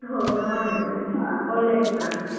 ಹೌದಾ ಮಾಡಿ ಮಾಡಿ ಒಳ್ಳೇಯಾಗ್ತದೆ.